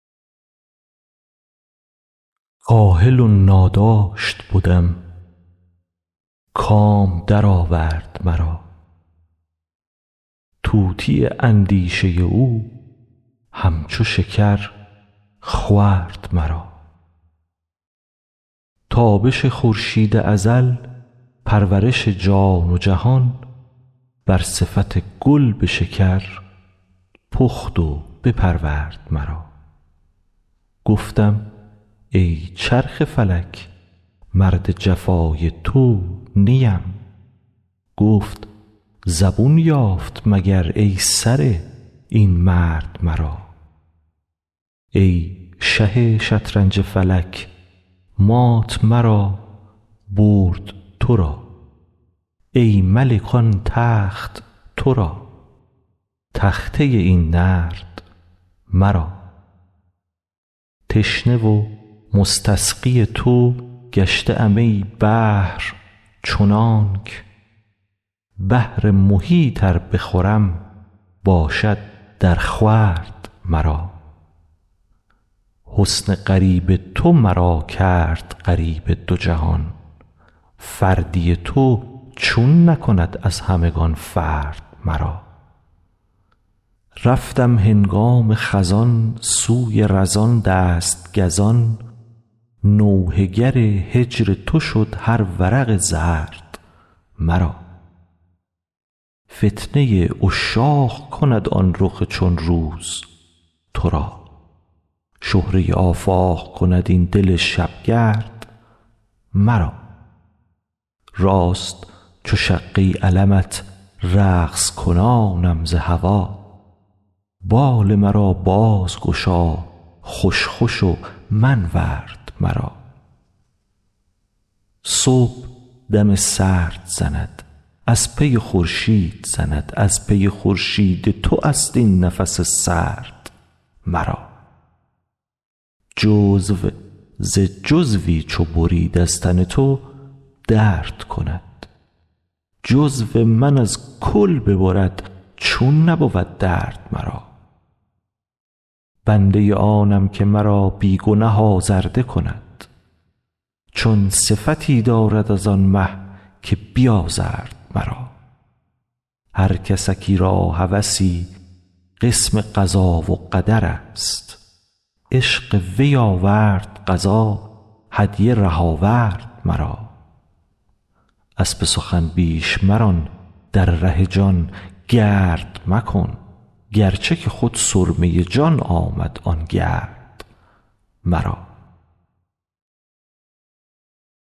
کاهل و ناداشت بدم کام درآورد مرا طوطی اندیشه او همچو شکر خورد مرا تابش خورشید ازل پرورش جان و جهان بر صفت گل به شکر پخت و بپرورد مرا گفتم ای چرخ فلک مرد جفای تو نیم گفت زبون یافت مگر ای سره این مرد مرا ای شه شطرنج فلک مات مرا برد تو را ای ملک آن تخت تو را تخته این نرد مرا تشنه و مستسقی تو گشته ام ای بحر چنانک بحر محیط ار بخورم باشد درخورد مرا حسن غریب تو مرا کرد غریب دو جهان فردی تو چون نکند از همگان فرد مرا رفتم هنگام خزان سوی رزان دست گزان نوحه گر هجر تو شد هر ورق زرد مرا فتنه عشاق کند آن رخ چون روز تو را شهره آفاق کند این دل شبگرد مرا راست چو شقه علمت رقص کنانم ز هوا بال مرا بازگشا خوش خوش و منورد مرا صبح دم سرد زند از پی خورشید زند از پی خورشید تو است این نفس سرد مرا جزو ز جزوی چو برید از تن تو درد کند جزو من از کل ببرد چون نبود درد مرا بنده آنم که مرا بی گنه آزرده کند چون صفتی دارد از آن مه که بیازرد مرا هر کسکی را هوسی قسم قضا و قدر است عشق وی آورد قضا هدیه ره آورد مرا اسب سخن بیش مران در ره جان گرد مکن گرچه که خود سرمه جان آمد آن گرد مرا